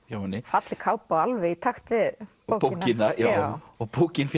hjá henni falleg kápa og alveg í takt við bókina og bókin